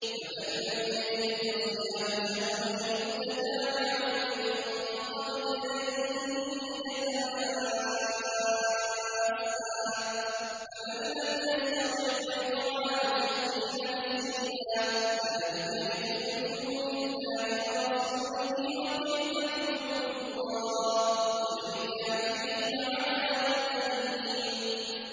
فَمَن لَّمْ يَجِدْ فَصِيَامُ شَهْرَيْنِ مُتَتَابِعَيْنِ مِن قَبْلِ أَن يَتَمَاسَّا ۖ فَمَن لَّمْ يَسْتَطِعْ فَإِطْعَامُ سِتِّينَ مِسْكِينًا ۚ ذَٰلِكَ لِتُؤْمِنُوا بِاللَّهِ وَرَسُولِهِ ۚ وَتِلْكَ حُدُودُ اللَّهِ ۗ وَلِلْكَافِرِينَ عَذَابٌ أَلِيمٌ